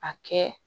A kɛ